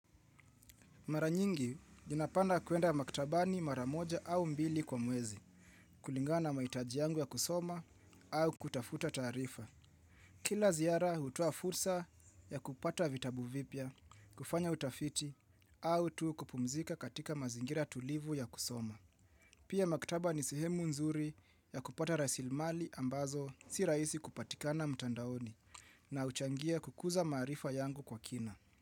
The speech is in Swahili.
Mara nyingi, ninapanda kuenda maktabani mara moja au mbili kwa mwezi, kulingana mahitaji yangu ya kusoma au kutafuta taarifa. Kila ziara, hutoa fursa ya kupata vitabu vipya, kufanya utafiti, au tu kupumzika katika mazingira tulivu ya kusoma. Pia maktaba ni sehemu nzuri ya kupata raisilimali ambazo si rahisi kupatikana mtandaoni na huchangia kukuza maarifa yangu kwa kina.